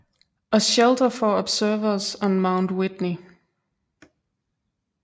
A Shelter for Observers on Mount Whitney